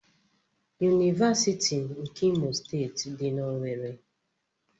Univasiti nke Imo steeti di na owerri.